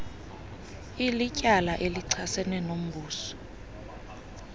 ilityala elichasene nombuso